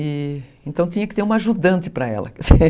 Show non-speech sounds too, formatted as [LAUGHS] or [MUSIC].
E então tinha que ter uma ajudante para ela. [LAUGHS]